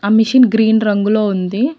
ఆ machine green రంగులో ఉంది.